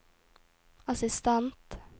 assistent